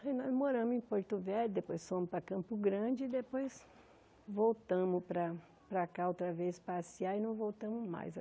Aí nós moramos em Porto Velho, depois fomos para Campo Grande e depois voltamos para para cá outra vez passear e não voltamos mais.